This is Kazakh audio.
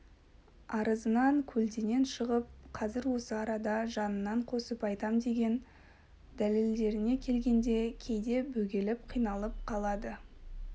арызынан көлденең шығып қазір осы арада жанынан қосып айтам деген дәлелдеріне келгенде кейде бөгеліп қиналып қалады